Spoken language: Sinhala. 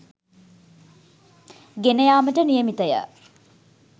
ගෙන යාමට නියමිතය.